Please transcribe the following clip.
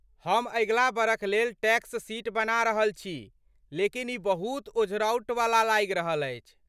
हम अगिला बरख लेल टैक्स शीट बना रहल छी लेकिन ई बहुत ओझरौटवला लागि रहल अछि।